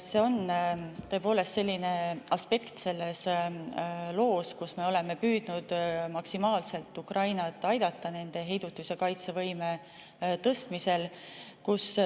See on tõepoolest selline aspekt selles loos, kus me oleme püüdnud maksimaalselt Ukrainat aidata nende heidutus‑ ja kaitsevõime tõstmisel.